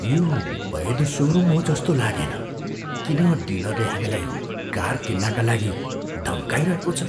यो वैध सोरुम हो जस्तो लागेन। किन डिलरले हामीलाई कार किन्नाका लागि धम्काइरहेको छ?